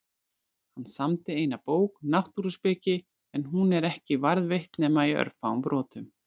Hann samdi eina bók, Náttúruspeki, en hún er ekki varðveitt nema í örfáum brotum.